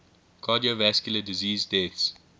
cardiovascular disease deaths